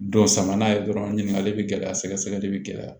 Dɔ sama n'a ye dɔrɔn ɲininkali be gɛlɛya sɛgɛsɛgɛli be gɛlɛya